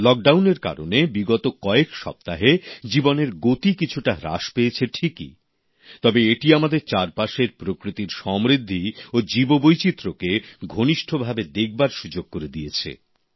লকডাউনের কারণে বিগত কয়েক সপ্তাহে জীবনের গতি কিছুটা হ্রাস পেয়েছে ঠিকই তবে এটি আমাদের চারপাশের প্রকৃতির সমৃদ্ধি ও জীববৈচিত্র্যকে ঘনিষ্ঠভাবে দেখার সুযোগ করে দিয়েছে